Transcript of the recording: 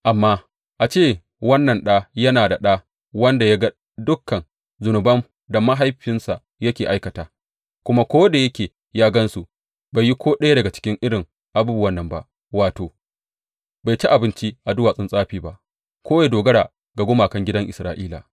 Amma a ce wannan ɗa yana da ɗa wanda ya ga dukan zunuban da mahaifinsa yake aikata, kuma ko da yake ya gan su, bai yi ko ɗaya daga cikin irin abubuwan nan ba, wato, Bai ci abinci a duwatsun tsafi ba ko ya dogara ga gumakan gidan Isra’ila.